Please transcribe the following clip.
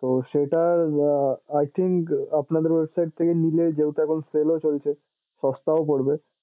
তো সেটায় uh i think আপনাদের website থেকে নিলে যেহেতু এখন sale ও চলছে সস্তাও পরবে।